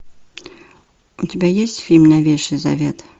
у тебя есть фильм новейший завет